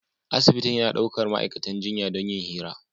Asibitin yana daukar sabbin ma'aikatan jinya don yin hira.